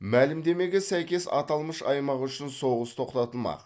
мәлімдемеге сәйкес аталмыш аймақ үшін соғыс тоқтатылмақ